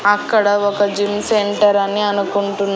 అక్కడ ఒక gym centre అని అనుకుంటున్--